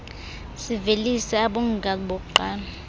sivelise abongokazi bokuqala